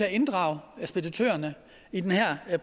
at inddrage speditørerne i den her